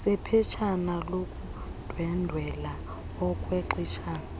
sephetshana lokundwendwela okwexeshana